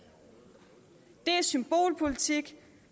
det er symbolpolitik